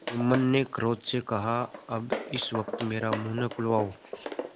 जुम्मन ने क्रोध से कहाअब इस वक्त मेरा मुँह न खुलवाओ